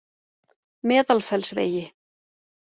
Meðalfellsvegi